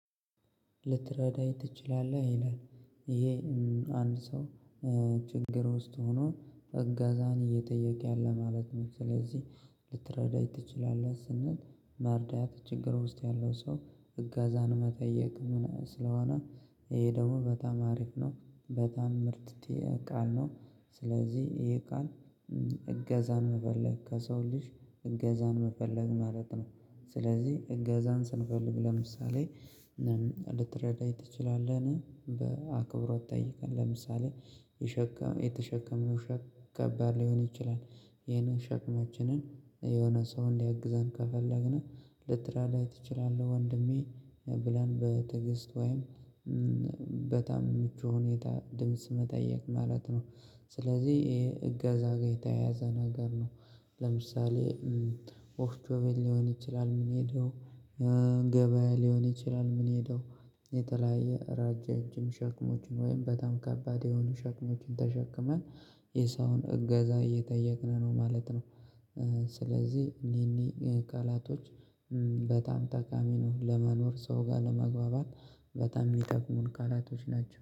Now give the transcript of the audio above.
ልትረዳኝ ትችላለህ ይላል ይሄ አንድ ሰው ችግር ውስጥ ሆኖ እጋዛን እየጠየቀ ያለ ማለት ነው። ስለዚህ ልትረዳኝ ትችላለህ ስንል ማርዳት ችግር ውስጥ ያለው ሰው እጋዛን መጠየቅ ምናምን ስለሆነ ይሄ ደግሞ በጣም አሪፍ ነው በጣም ምርጥ የቃል ነው። ስለዚህ የቃል እገዛ መፈለግ ከሰው ልጅ እገዛን መፈለግ ማለት ነው። ስለዚህ እገዛን ስንፈልግ ለምሳሌ ልትረዳኝ ትችላለህ በአክብሮት ጠይቀን ለምሳሌ የተሸከምንው ሸክም ከባድ ሊሆን ይችላል። ይሄን ሸክማችንን የሆነ ሰው እንዲያግዘን ከፈለግን ልትራዳት ትችላለህ ወንድሜ ብለን በተገስት ወይም በጣም ምቹ ሁኔታ ድምጽ መጠየቅ ማለት ነው። ስለዚህ ይሄ እገዛ ጋር የተያያዘ ነገር ነው። ለምሳሌ ወፍጮ ቤት ሊሆን ይችላል ምንሄደው ገበያ ሊሆን ይችላል ምንሄደው የተለያየ ረጃጅም ሸክሞችን ወይም በጣም ከባድ የሆኑ ሸክሞችን ተሸክመን የሰውን እገዛ እየጠየቅን ነው ማለት ነው። ስለዚህ እኔ እኔ ቃላቶች በጣምጠቃሚ ነው ለመኖር ሰው ጋር ለመግባባት በጣም የሚጠቅሙን ቃላቶች ናቸው